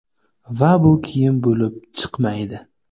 Va bu kiyim bo‘lib chiqmaydi.